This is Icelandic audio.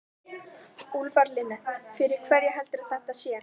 Úlfar Linnet: Fyrir hverja heldurðu að þetta sé?